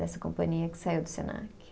Dessa companhia que saiu do Senac.